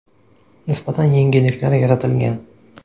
Nisbatan yengilliklar yaratilgan.